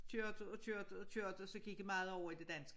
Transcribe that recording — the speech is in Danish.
Kørte og kørte og kørte så gik jeg meget over i det danske